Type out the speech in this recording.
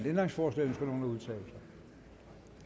ændringsforslag nummer